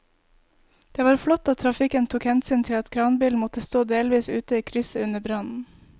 Det var flott at trafikken tok hensyn til at kranbilen måtte stå delvis ute i krysset under brannen.